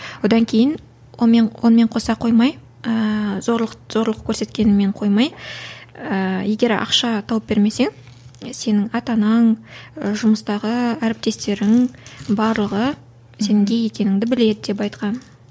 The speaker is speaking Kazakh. онан кейін онымен онымен қоса қоймай ыыы зорлық зорлық көрсеткенімен қоймай ыыы егер ақша тауып бермесең сенің ата анаң і жұмыстағы әріптестерің барлығы сенің гей екеніңді біледі деп айтқан